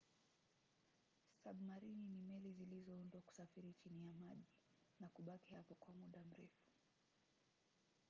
sabmarini ni meli zilizoundwa kusafiri chini ya maji na kubaki hapo kwa muda mrefu